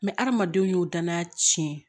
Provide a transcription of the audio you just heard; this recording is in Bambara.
adamadenw y'o danaya tiɲɛ